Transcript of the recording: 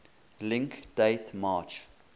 link date march